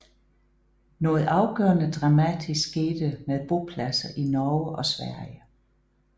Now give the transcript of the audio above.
Noget afgørende dramatisk skete med bopladser i Norge og Sverige